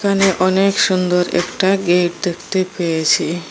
এখানে অনেক সুন্দর একটা গেট দেখতে পেয়েছি।